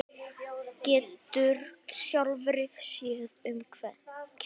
Getur sjálfri sér um kennt.